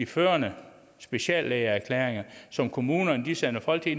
førende speciallæger som kommunerne sender folk til